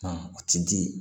u ti di